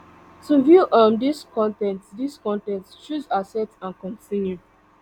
to view um dis con ten t dis con ten t choose accept and continue